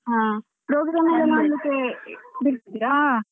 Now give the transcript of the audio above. ಹ program ಎಲ್ಲ ನೋಡ್ಲಿಕ್ಕೆ ಬಿಡ್ತಿದ್ರಾ?